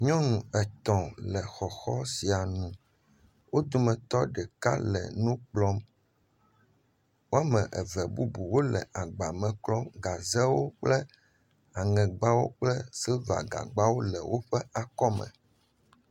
Nyɔnu etɔ̃ le xɔxɔ sia nu, wo dometɔ ɖeka le nu kplɔm, woame eve bubu wole agbame me klɔm gazewo kple aŋegbawo kple agbawo kple siliva gagbewo le woƒe akɔme.